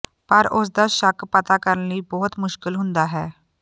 ਪਰ ਉਸ ਦਾ ਸ਼ੱਕ ਪਤਾ ਕਰਨ ਲਈ ਬਹੁਤ ਮੁਸ਼ਕਲ ਹੁੰਦਾ ਹੈ